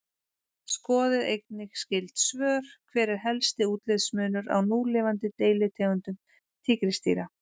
Skoðið einnig skyld svör: Hver er helsti útlitsmunur á núlifandi deilitegundum tígrisdýra?